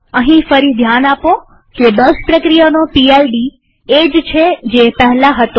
અહીં ફરી ધ્યાન આપો કે બેશ પ્રક્રિયાનો પીડ એ જ છે જે પહેલા હતો